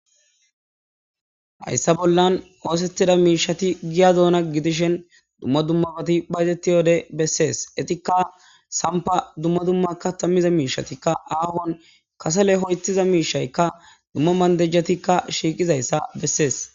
Hayssa bollan oothetida miishati giya doona gidishin dumma dummabati bayzetiyo wode besees eetika sampa dumma dumma kaatha miza miishatikka ahuuwan kasele ho'ethiza miishaykka dumma manjetikka shiiqidayssa besees.